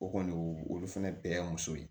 O kɔni olu fɛnɛ bɛɛ ye muso ye